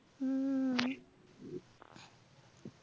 हम्म